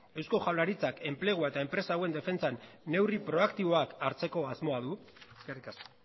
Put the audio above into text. eusko jaurlaritzak enplegu hauen eta enpresa hauen defentsan neurri proaktiboak hartzeko asmoa du eskerrik asko